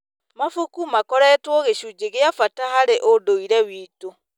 Mabuku makoretwo gĩcunjĩ gĩa bata harĩ ũndũire witũ.